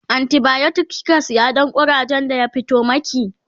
antibiotic kika saya Dan kurajen da ya fito maki?